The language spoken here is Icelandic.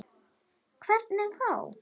Hvernig þá?